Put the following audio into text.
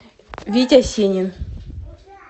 витя сенин